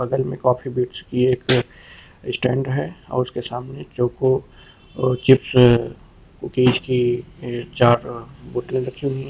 बगल में coffee bites का एक स्टैंड है और उसके सामने चोको अह चिप्स कूकीस एह की चार बोतले रखी हुई हैं।